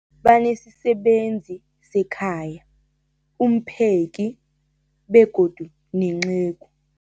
Banesisebenzi sekhaya, umpheki, begodu nenceku.